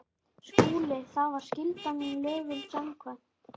SKÚLI: Það var skylda mín lögum samkvæmt.